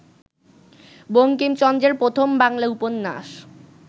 বঙ্কিমচন্দ্রের প্রথম বাংলা উপন্যাস